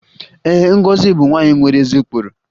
Ee, Ngozi bụ nwanyị nwere ezi ụkpụrụ